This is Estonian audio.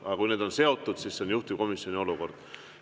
Ent kui need on seotud, siis see on juhtivkomisjoni.